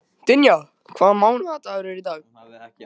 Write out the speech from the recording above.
Dynja, hvaða mánaðardagur er í dag?